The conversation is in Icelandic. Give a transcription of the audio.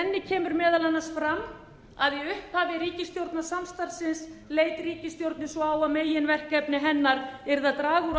kemur meðal annars fram að í upphafi ríkisstjórnarsamstarfsins leit ríkisstjórnin svo á að meginverkefni hennar yrði að draga úr